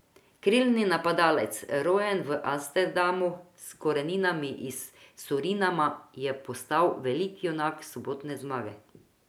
Krilni napadalec, rojen v Amsterdamu, a s koreninami iz Surinama, je postal veliki junak sobotne zmage.